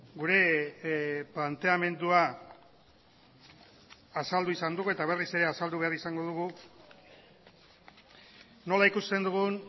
gure planteamendua azaldu izan dugu eta berriz ere azaldu behar izango dugu nola ikusten dugun